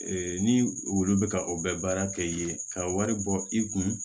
ni wulu bɛ ka o bɛ baara kɛ yen ka wari bɔ i kun